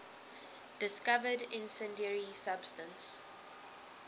discovered incendiary substance